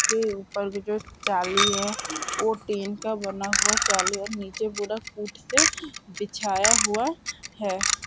के उपर भी जो चाली है वो टीन का बना हुआ चाली है। नीचे पूरा कूट से बिछाया हुआ है।